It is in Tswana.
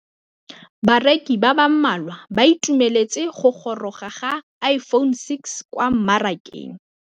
Bareki ba ba malwa ba ituemeletse go gôrôga ga Iphone6 kwa mmarakeng.